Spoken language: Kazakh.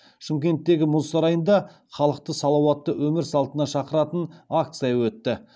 шымкенттегі мұз сарайында халықты салауатты өмір салтына шақыратын акция өтті